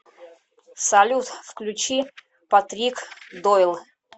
салют включи патрик дойл